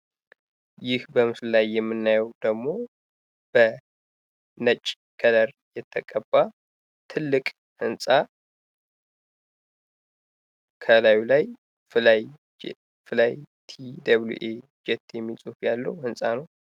ይህ በምስሉ ላይ የምናየው ደግሞ በነጭ ከለር የተቀባ ትልቅ ህንጻ ከላዩ ላይ ፍላይ ቲ ደብሊዉ ኤ ጄት የሚል ጽሑፍ ያለው ህንጻ ነው።